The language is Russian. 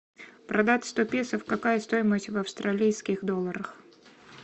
продать сто песо какая стоимость в австралийских долларах